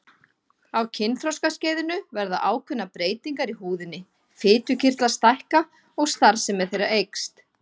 Á kynþroskaskeiðinu verða ákveðnar breytingar í húðinni, fitukirtlar stækka og starfsemi þeirra eykst.